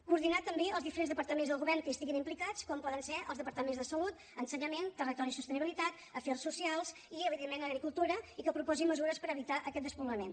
coordinar també els diferents departaments del govern que hi estiguin implicats com poden ser els departaments de salut ensenyament territori i sostenibilitat afers socials i evidentment agricultura i que proposin mesures per evitar aquest despoblament